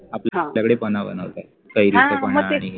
आपल्याकडे पन्ह बनवलं जातं, कैरीचं पन्ह आणि